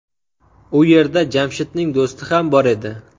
U yerda Jamshidning do‘sti ham bor edi.